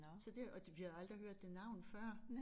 Så det og vi havde aldrig hørt det navn før